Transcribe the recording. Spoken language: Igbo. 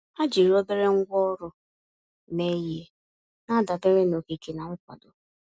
Ha jiri obere ngwá ọrụ mee ihe, na-adabere na okike na nkwado.